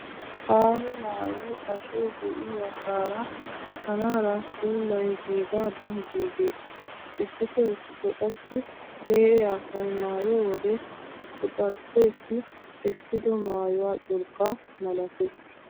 Aaho maayoy ashoy de'iyo asaara kanaara sulay giigaadan giigees. Issitoo issitoo qassi lee'e asay maayiyo wode quxarsseessi essido maayuwa curqqaa malatees.